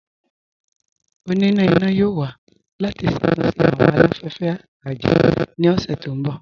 Ọ̀nínà iná yóò wà láti ṣátúnṣe awọn aláfẹ̀fẹ̀ àjá ní ọṣẹ̀ tó nbọ̀.